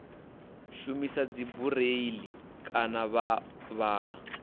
shumisa dzibureiḽi kana vha vhala